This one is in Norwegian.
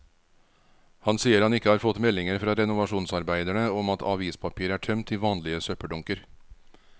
Han sier han ikke har fått meldinger fra renovasjonsarbeiderne om at avispapir er tømt i vanlige søppeldunker.